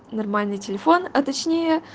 нормальный телефон а точнее